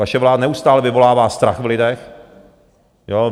Vaše vláda neustále vyvolává strach v lidech.